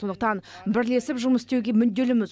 сондықтан бірлесіп жұмыс істеуге мүдделіміз